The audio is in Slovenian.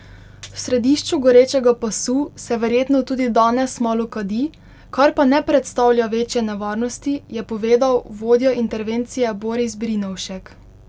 V središču gorečega pasu se verjetno tudi danes malo kadi, kar pa ne predstavlja večje nevarnosti, je povedal vodja intervencije Boris Brinovšek.